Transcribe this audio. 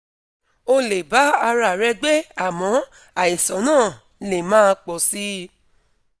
o lè bá ara rẹ gbé àmọ́ àìsàn náà lè máa pọ̀ sí i